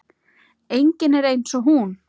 Enginn er eins og hún.